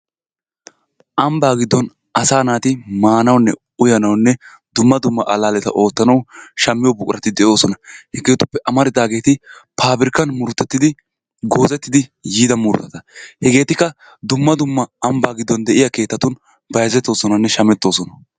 Ambbaa giddon asaa naati maanawunne uyanawunne dumma dumma allaalleta oottanawu shammiyo buqurati de'oosona. Hegeetuppe amaridaageeti paabrikan murutettidi goozettidi yiida murutata. Hegeetuppekka dumma dumma ambbaa giddon de'iya keettatun bayizettoosonanne shamettoosona.